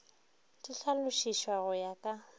di hlalošišwa go ya ka